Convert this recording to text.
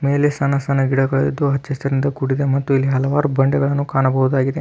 ಮೇಲೆ ಸಣ್ಣ ಸಣ್ಣ ಗಿಡಗಳು ಇದ್ದು ಹಚ್ಚ ಹಸಿರಿನಿಂದ ಕೂಡಿದೆ ಮತ್ತುಇಲ್ಲಿ ಹಲವಾರು ಬಂಡೆಗಳನ್ನು ಕಾಣಬಹುದಾಗಿದೆ.